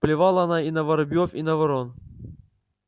плевала она и на воробьёв и на ворон